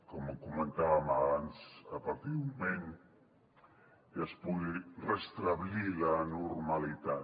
com comentàvem abans a partir d’un moment ja es pugui restablir la normalitat